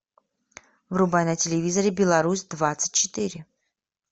врубай на телевизоре беларусь двадцать четыре